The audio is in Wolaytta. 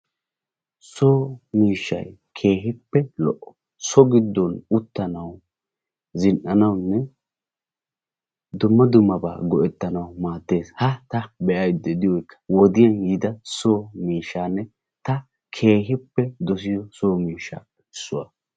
So miishshay keehippe lo'o. So giddon uttanawu, zin"anawunne dumma dummabaa go'ettanawu maaddes. Ha ta be'ayidda diyogee wodiyan yiida so miishshaanne ta keehippe dosiyo so miishshaappe issuwa.